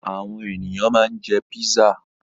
Àwọn ènìyàn ma ń jẹ́ písà